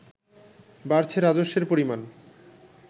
বাড়ছে রাজস্বের পরিমাণ